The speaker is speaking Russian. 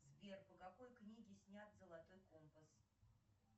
сбер по какой книге снят золотой компас